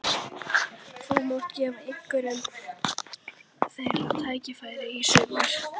Þú munt gefa einhverjum þeirra tækifæri í sumar?